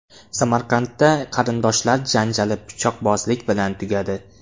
Samarqandda qarindoshlar janjali pichoqbozlik bilan tugadi.